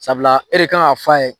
Sabula e de k'an ka f'a ye.